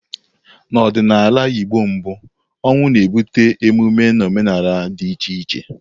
N'ọdịnala Igbo mbụ, ọnwụ na-ebute emume na omenala dị iche iche.